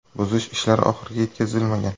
Buzish ishlari oxiriga yetkazilmagan.